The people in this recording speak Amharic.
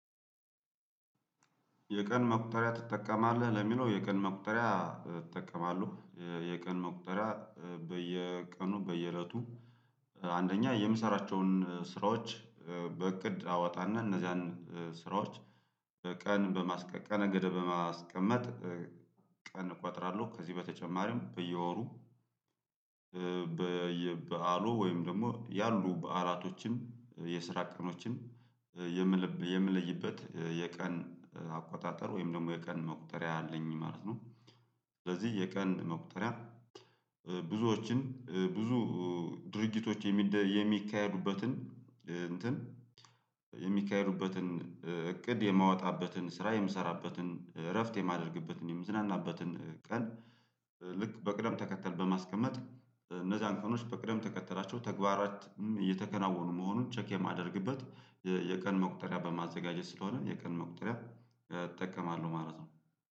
የቀን መቁጠሪያ ትጠቀማለህ ለሚለው የቀን መቁጠሪያ እጠቀማለሁ የቀን መቁጠሪያ በየቀኑ በየእለቱ። አንደኛ የምሰራቸውን ስራዎች በእቅድ አወጣና እነዚያን ስራዎች በቀን በማስቀ ቀነ ገደብ በማስቀመጥ። ቀን እቆጥራለሁ። ከዚህ በተጨማሪም በየወሩ በየበአሉ ወይም ደግሞ ያሉ በዓላቶችን የስራ ቀኖችን የምለይበት የቀን አቆጣጠር ወይም ደግሞ የቀን መቁጠሪያ አለኝ ማለት ነው። ስለዚህ የቀን መቁጠሪያ ብዙዎችን ብዙ ድርጊቶች የሚካሄዱበትን እንትን የሚካሄዱበትን እቅድ የማወጣበትን ስራ የምሰራበትን እረፍት የማደርግበትን የምዝናናበትን ቀን። ልክ በቅደም ተከተል በማስቀመጥ እነዛን ቀኖች በቅደም ተከተላቸው ተግባራትም እየተከናወኑ መሆኑን ቼክ የማደርግበት የቀን መቁጠሪያ በማዘጋጀት ስለሆነ የቀን መቁጠሪያ እጠቀማለሁ ማለት ነው።